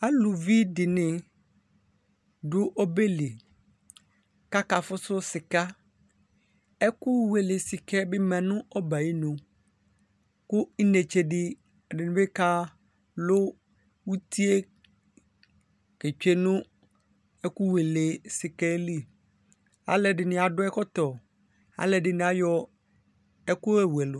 Aluvidíni du obɛli kakafu su sika ɛku wele sika yɛ bi ma nu ɔbɛ ayinu ku inetsedibi kalu utie tsue nu ɛkuwele sika li aluɛdini dini adu ɛkɔtɔ aluɛdini ayɔ ɛkuyowu ɛlu